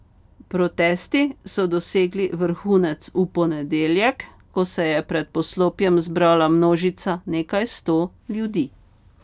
Protesti so dosegli vrhunec v ponedeljek, ko se je pred poslopjem zbrala množica nekaj sto ljudi.